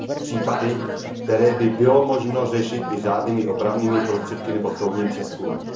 Případy, které by bylo možno řešit i řádnými opravnými prostředky nebo soudním přezkumem.